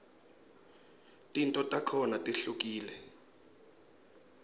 tento takhona tihlukule